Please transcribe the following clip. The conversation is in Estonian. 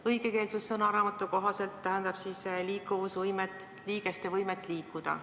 Õigekeelsussõnaraamatu järgi tähendab see liikumise võimet, näiteks liigeste võimet liikuda.